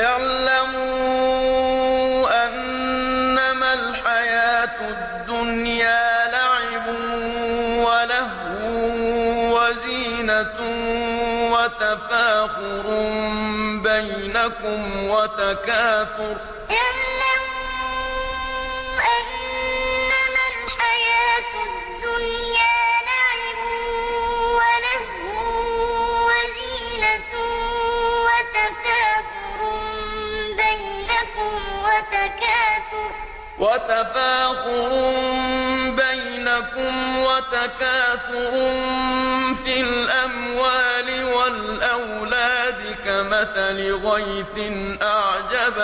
اعْلَمُوا أَنَّمَا الْحَيَاةُ الدُّنْيَا لَعِبٌ وَلَهْوٌ وَزِينَةٌ وَتَفَاخُرٌ بَيْنَكُمْ وَتَكَاثُرٌ فِي الْأَمْوَالِ وَالْأَوْلَادِ ۖ كَمَثَلِ غَيْثٍ أَعْجَبَ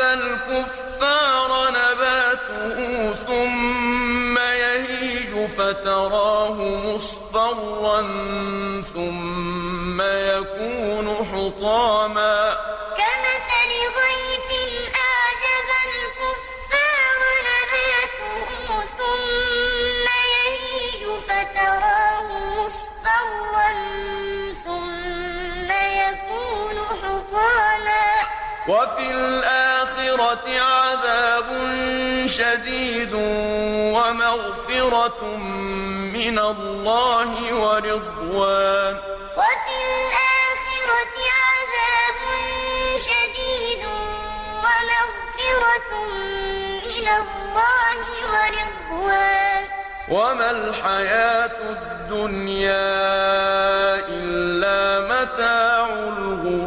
الْكُفَّارَ نَبَاتُهُ ثُمَّ يَهِيجُ فَتَرَاهُ مُصْفَرًّا ثُمَّ يَكُونُ حُطَامًا ۖ وَفِي الْآخِرَةِ عَذَابٌ شَدِيدٌ وَمَغْفِرَةٌ مِّنَ اللَّهِ وَرِضْوَانٌ ۚ وَمَا الْحَيَاةُ الدُّنْيَا إِلَّا مَتَاعُ الْغُرُورِ اعْلَمُوا أَنَّمَا الْحَيَاةُ الدُّنْيَا لَعِبٌ وَلَهْوٌ وَزِينَةٌ وَتَفَاخُرٌ بَيْنَكُمْ وَتَكَاثُرٌ فِي الْأَمْوَالِ وَالْأَوْلَادِ ۖ كَمَثَلِ غَيْثٍ أَعْجَبَ الْكُفَّارَ نَبَاتُهُ ثُمَّ يَهِيجُ فَتَرَاهُ مُصْفَرًّا ثُمَّ يَكُونُ حُطَامًا ۖ وَفِي الْآخِرَةِ عَذَابٌ شَدِيدٌ وَمَغْفِرَةٌ مِّنَ اللَّهِ وَرِضْوَانٌ ۚ وَمَا الْحَيَاةُ الدُّنْيَا إِلَّا مَتَاعُ الْغُرُورِ